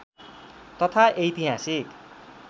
तथा ऐतिहासिक